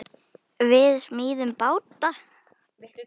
Við smíðum báta.